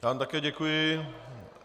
Já vám také děkuji.